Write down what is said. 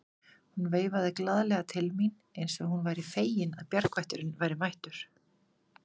Hún veifaði glaðlega til mín eins og hún væri fegin að bjargvætturinn væri mættur.